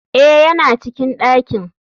Eh yana cikin dakin.